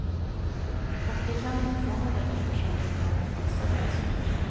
Och de kan inte få något eftersom de inte har en fast adress.